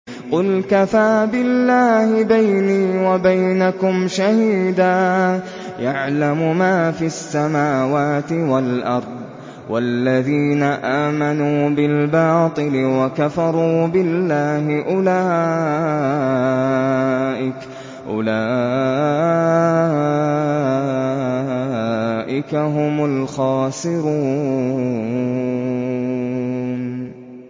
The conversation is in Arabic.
قُلْ كَفَىٰ بِاللَّهِ بَيْنِي وَبَيْنَكُمْ شَهِيدًا ۖ يَعْلَمُ مَا فِي السَّمَاوَاتِ وَالْأَرْضِ ۗ وَالَّذِينَ آمَنُوا بِالْبَاطِلِ وَكَفَرُوا بِاللَّهِ أُولَٰئِكَ هُمُ الْخَاسِرُونَ